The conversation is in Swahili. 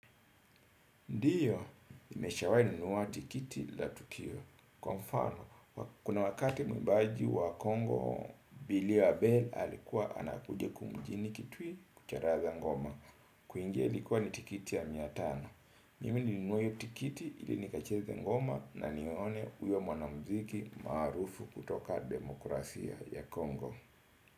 Ndiyo, nimeshawahi nunua tiketi la tukio. Kwa mfano, kuna wakati mwimbaji wa Kongo, Billy Abel alikuwa anakuja kumjini Kitui kucharaza ngoma. Kuingia ilikuwa ni tiketi ya mia tano. Mimi nilinunuuwa hiyo tikiti ili nikacheze ngoma na nione uyo mwana muziki maarufu kutoka demokrasia ya Kongo.